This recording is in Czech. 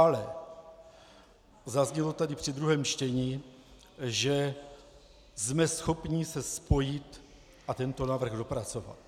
Ale zaznělo tady při druhém čtení, že jsme schopni se spojit a tento návrh dopracovat.